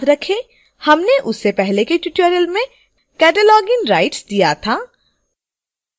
याद रखें हमने उसे पहले के tutorial में cataloging rights दिया था